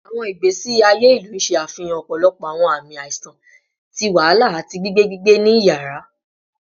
Awọn igbesi aye ilu ṣe afihan ọpọlọpọ awọn aami aiṣan ti wahala ati gbigbe gbigbe ni iyara